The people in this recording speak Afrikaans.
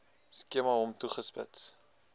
skema hom toegespits